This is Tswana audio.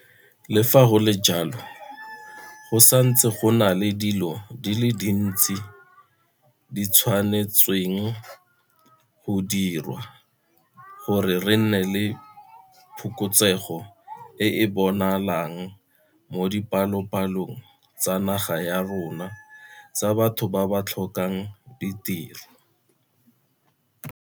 Le fa go le jalo, go santse go na le dilo tse dintsi tse di tshwanetsweng go diriwa gore re nne le phokotsego e e bonagalang mo dipalopalong tsa naga ya rona tsa batho ba ba tlhokang ditiro.